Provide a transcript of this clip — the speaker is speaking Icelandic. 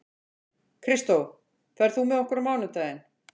Kristó, ferð þú með okkur á mánudaginn?